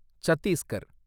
Chhattisgarh